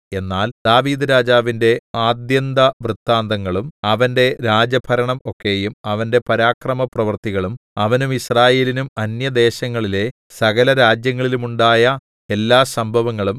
എന്നാൽ ദാവീദ്‌ രാജാവിന്റെ ആദ്യന്തവൃത്താന്തങ്ങളും അവന്റെ രാജഭരണം ഒക്കെയും അവന്റെ പരാക്രമപ്രവൃത്തികളും അവനും യിസ്രായേലിനും അന്യദേശങ്ങളിലെ സകലരാജ്യങ്ങളിലുമുണ്ടായ എല്ലാ സംഭവങ്ങളും